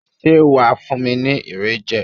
Ṣé wà á fún mi ní Irẹ̀ jẹ?